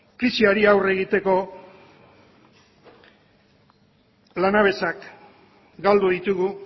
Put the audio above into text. krisiari aurre egiteko lanabesak galdu ditugu